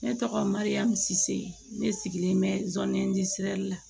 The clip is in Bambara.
Ne tɔgɔ mariyamu sise ne sigilen bɛ sɔɔni di siran